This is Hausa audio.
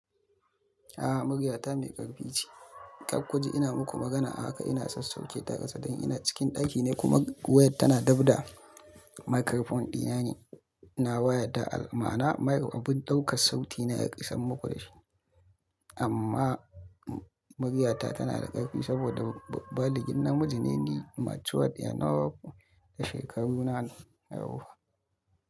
A'a, muryata mai ƙarfi ce. Kar ku ji ina muku magana a haka ina sassauƙeta a ƙasa dan ina cikin ɗaki ne kuma wayar tana dabda. Microphone ɗi na ne, na waya ta mana'ana mic, abun ɗaukar sauti na isar mu ku da shi. Amma muryata tana da ƙarfi saboda baligin namiji ne ni, matured enough da shekaru na yawwa.